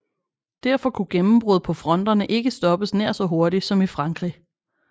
Derfor kunne gennembrud på fronterne ikke stoppes nær så hurtigt som i Frankrig